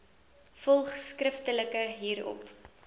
volg skriftelik hierop